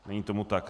Není tomu tak.